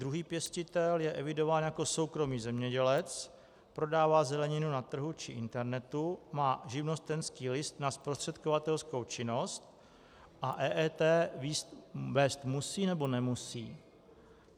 Druhý pěstitel je evidován jako soukromý zemědělec, prodává zeleninu na trhu či internetu, má živnostenský list na zprostředkovatelskou činnost - a EET vést musí, nebo nemusí?